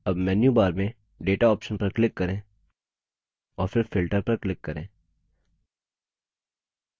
अब मेन्यूबार में data option पर click करें और फिर filter पर click करें